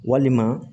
Walima